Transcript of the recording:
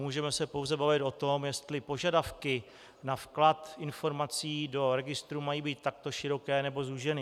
Můžeme se pouze bavit o tom, jestli požadavky na vklad informací do registru mají být takto široké, nebo zúžené.